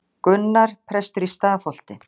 Gunnar, prestur í Stafholti.